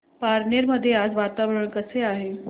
पारनेर मध्ये आज वातावरण कसे आहे